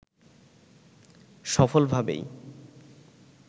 সফল ভাবেই